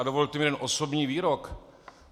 A dovolte mi jeden osobní výrok: